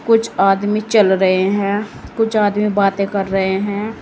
कुछ आदमी चल रहे हैं कुछ आदमी बातें कर रहे हैं।